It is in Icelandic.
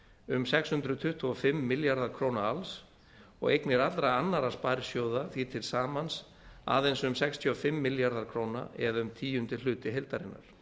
um sex hundruð tuttugu og fimm milljarðar króna alls og eignir allra annarra sparisjóða því til samans aðeins um sextíu og fimm milljarðar króna eða um tíundi hluti heildarinnar